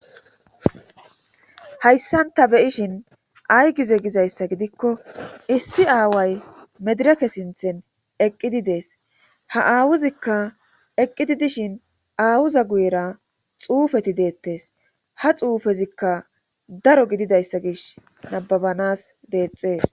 hayssanta beyishin ay gize gizayssa gidikko issi aaway medirake sinthen eqqidi dees ha aawuzikka eqqidi dishin aawuza guyera xuufeti deettes ha xuufezikka daro gididayssa gish nababanas deexxees